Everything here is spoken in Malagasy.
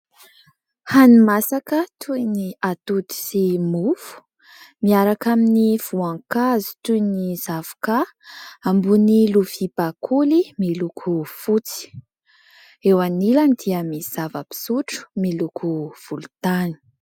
Hani-masaka toy ny atody sy mofo miaraka amin'ny voankazo toy ny zavoka ambony lovia bakoly miloko fotsy, eo anilany dia misy zava-pisotro miloko volontany.